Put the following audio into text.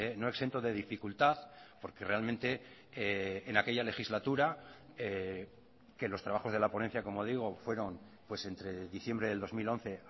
no exento de dificultad porque realmente en aquella legislatura que los trabajos de la ponencia como digo fueron pues entre diciembre del dos mil once